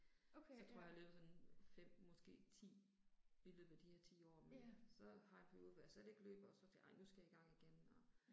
Så tror jeg jeg har løbet sådan 5 måske 10 i løbet af de her 10 år men så har jeg en periode hvor jeg slet ikke løber og så tænker ej nu skal jeg i gang igen og